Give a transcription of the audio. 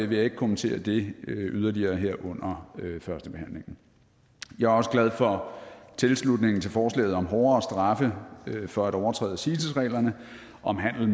vil jeg ikke kommentere det yderligere her under førstebehandlingen jeg er også glad for tilslutningen til forslaget om hårdere straffe for at overtræde cites reglerne om handel